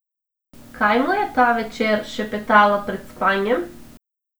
Kaj mu je ta večer šepetala pred spanjem?